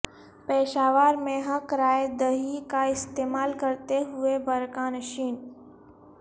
پشاور میں حق رائے دہی کا استعمال کرتے ہوئے برقع نشین